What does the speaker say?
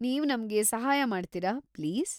ನೀವ್ ನಮ್ಗೆ ಸಹಾಯ ಮಾಡ್ತೀರಾ, ಪ್ಲೀಸ್‌?